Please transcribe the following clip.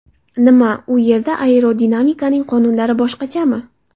Nima, u yerda aerodinamikaning qonunlari boshqachami?